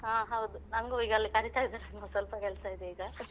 ಹ ಹೌದು ನಂಗೂ ಈಗ ಅಲ್ಲಿ ಕರೀತಾ ಇದ್ದಾರೆ ಒಂದು ಸ್ವಲ್ಪ ಕೆಲ್ಸ ಇದೆ ಈಗ